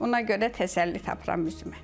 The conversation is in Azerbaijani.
Ona görə təsəlli tapıram özümə.